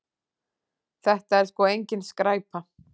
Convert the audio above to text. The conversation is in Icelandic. Þetta er sko engin skræpa.